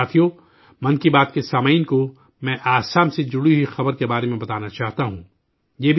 ساتھیو، 'من کی بات' کے سامعین کو میں آسام سے جڑی ہوئی ایک خبر کے بارے میں بتانا چاہتا ہوں